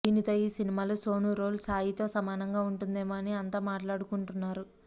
దీనితో ఈ సినిమాలో సోనూ రోల్ సాయి తో సమానంగా ఉంటుందేమో అని అంత మాట్లాడుకుంటున్నారు